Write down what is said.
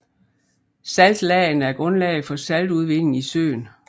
Saltlagene er grundlag for saltudvinding i søen